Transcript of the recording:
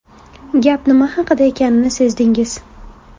Gap nima haqida ekanini sezdingiz.